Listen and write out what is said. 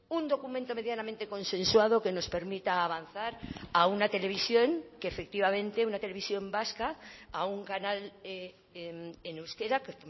un documento medianamente consensuado que nos permita avanzar a una televisión que efectivamente una televisión vasca a un canal en euskera que